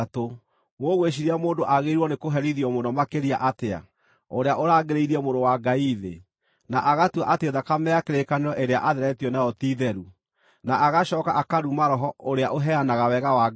Mũgwĩciiria mũndũ aagĩrĩirwo nĩkũherithio mũno makĩria atĩa, ũrĩa ũrangĩrĩirie Mũrũ wa Ngai thĩ, na agatua atĩ thakame ya kĩrĩkanĩro ĩrĩa aatheretio nayo ti theru, na agacooka akaruma Roho ũrĩa ũheanaga wega wa Ngai?